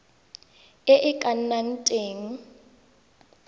e e ka nnang teng